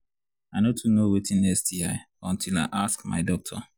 i no too know watin sti until i ask my doctor